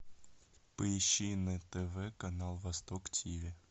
поищи на тв канал восток тв